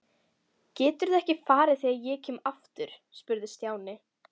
Geturðu ekki farið þegar ég kem aftur? spurði Stjáni.